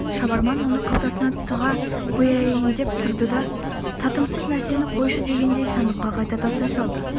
шабарман оны қалтасына тыға қояйын деп тұрды да татымсыз нәрсені қойшы дегендей сандыққа қайта тастай салды